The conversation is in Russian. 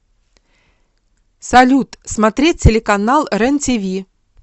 салют смотреть телеканал рен тиви